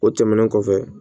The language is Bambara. O tɛmɛnen kɔfɛ